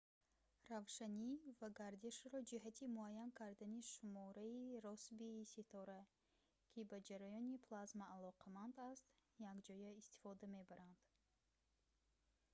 равшанӣ ва гардишро ҷиҳати муайян кардани шумораи россбии ситора ки ба ҷараёни плазма алоқаманд аст якҷоя истифода мебаранд